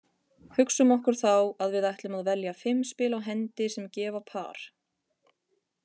Hugsum okkur þá að við ætlum að velja fimm spil á hendi sem gefa par.